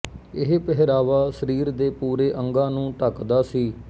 ਇਹ ਪਹਿਰਾਵਾ ਸਰੀਰ ਦੇ ਪੂਰੇ ਅੰਗਾਂ ਨੂੰ ਢੱਕਦਾ ਸੀ